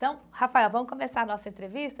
Então, Rafael, vamos começar a nossa entrevista.